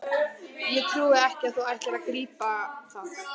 Ég trúi ekki að þú ætlir ekki að grípa það!